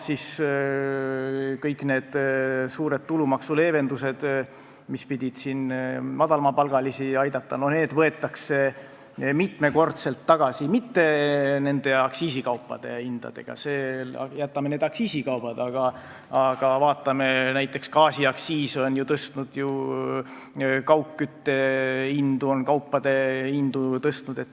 Kõik need suured tulumaksuleevendused, mis pidid madalapalgalisi aitama, võetakse mitmekordselt tagasi ja mitte nende aktsiisikaupade hindadega, jätame need aktsiisikaubad, aga vaatame näiteks seda, et gaasiaktsiis on ju tõstnud kaugkütte ja kaupade hindu.